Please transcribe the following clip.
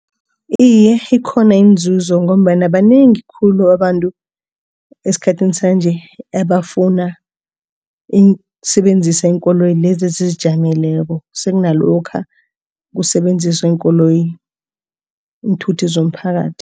Iye, ikhona inzuzo ngombana banengi khulu abantu esikhathini sanje abafuna ukusebenzisa iinkoloyi ezizijameleko sekunalokha kusebenziswa iinkoloyi iinthuthi zomphakathi.